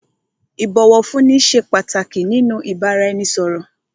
Ìbọ̀wọ̀fúnni ṣé pàtàkì nínú ìbáraẹnisọ̀rọ̀.